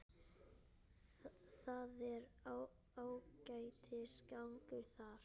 Það er ágætis gangur þar.